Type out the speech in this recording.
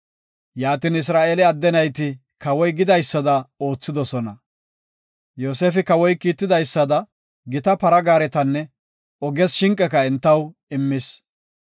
Yaatin Isra7eele adde nayti kawoy gidaysada oothidosona. Yoosefi Kawoy kiitidaysada gita para gaaretanne oges shinqeka entaw immis.